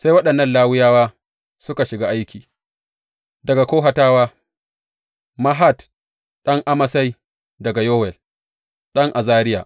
Sai waɗannan Lawiyawa suka shiga aiki, daga Kohatawa Mahat ɗan Amasai da Yowel ɗan Azariya.